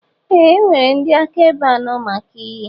Ee e nwere ndị akaebe anọ maka iyi.